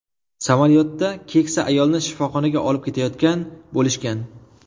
Samolyotda keksa ayolni shifoxonaga olib ketayotgan bo‘lishgan.